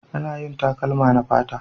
Ana yin takalma da fata